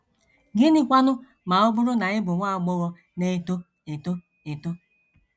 Gịnịkwanụ ma ọ bụrụ na ị bụ nwa agbọghọ na - eto eto eto?